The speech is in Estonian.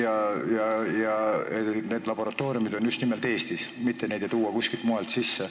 Arvatakse, et need laboratooriumid on just nimelt Eestis, neid aineid ei tooda kuskilt mujalt sisse.